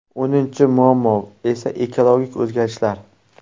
O‘ninchi muammo esa ekologik o‘zgarishlar.